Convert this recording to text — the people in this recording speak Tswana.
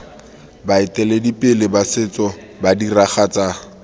baeteledipele ba setso ba diragatsa